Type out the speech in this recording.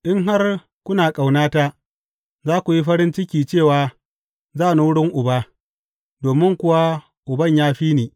In har kuna ƙaunata, za ku yi farin ciki cewa za ni wurin Uba, domin kuwa Uban ya fi ni.